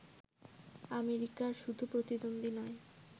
আমেরিকার শুধু প্রতিদ্বন্দ্বী নয়